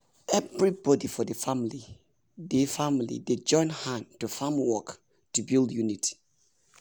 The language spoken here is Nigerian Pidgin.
everybody for the family dey family dey join hand do farm work to build unity.